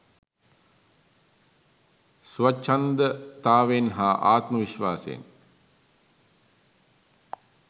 ස්වච්ඡන්දතාවෙන් හා ආත්ම විශ්වාසයෙන්